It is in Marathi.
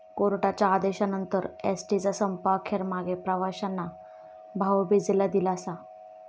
कोर्टाच्या आदेशानंतर एसटीचा संप अखेर मागे, प्रवाशांना भाऊबिजेला दिलासा